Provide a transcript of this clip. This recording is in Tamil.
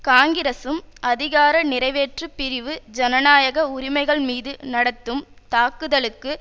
காங்கிரஸும் அதிகார நிறைவேற்று பிரிவு ஜனநாயக உரிமைகள் மீது நடத்தும் தாக்குதலுக்கு